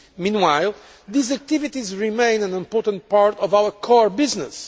Meanwhile, these activities remain an important part of our core business.